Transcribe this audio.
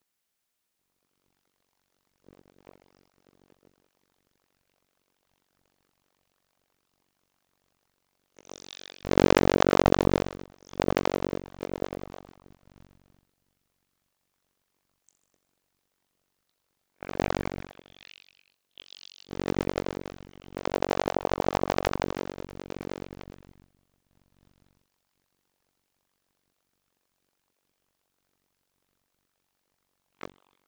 THEODÓRA: Ekki vafi.